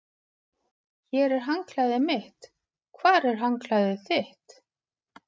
Hér er handklæðið mitt. Hvar er handklæðið þitt?